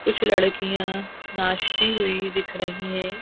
कुछ लड़कियां नाचती हुई दिख रही है।